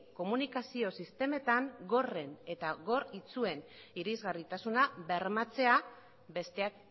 komunikazio sistemetan gorren eta gor itsuen irisgarritasuna bermatzea besteak